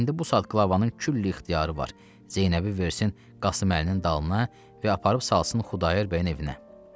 İndi bu saat qlavanın külli ixtiyarı var, Zeynəbi versin Qasıməlinin dalına və aparıb salsın Xudayar bəyin evinə.